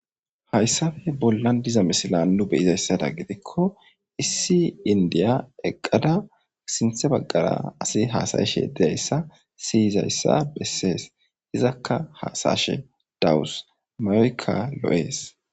hayssafe bollan diza misilan nu beyizayssada gidikko issi indiya eqqada sinthe baggara asi haasayeshe dizayssa siyizayssa bessees izakka haasashe dawus mayoykka lo7ees